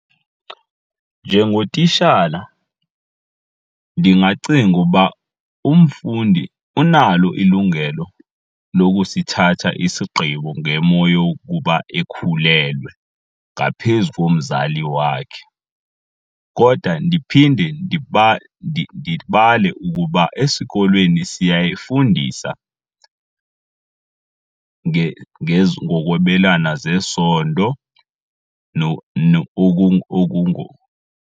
Njengotishala ndingacinga uba umfundi unalo ilungelo lokusithatha isigqibo ngemo yokuba ekhulelwe ngaphezu komzali wakhe. Kodwa ndiphinde ndibale ukuba esikolweni siyafundisa ngokwabelana ngesondo